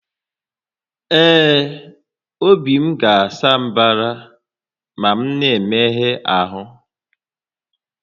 Ee, obi m ga-asa mbara ma m na-emegha ahụ